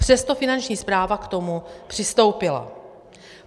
Přesto Finanční správa k tomu přistoupila.